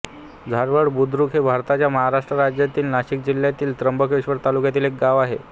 झारवड बुद्रुक हे भारताच्या महाराष्ट्र राज्यातील नाशिक जिल्ह्यातील त्र्यंबकेश्वर तालुक्यातील एक गाव आहे